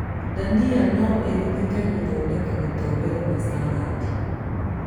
Ndania no ĩhũthĩke gũthondeka gĩtowero na carandi